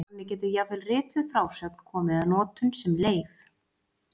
Þannig getur jafnvel rituð frásögn komið að notum sem leif.